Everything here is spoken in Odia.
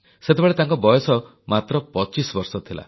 ସେତେବେଳେ ତାଙ୍କ ବୟସ ମାତ୍ର 25 ବର୍ଷ ଥିଲା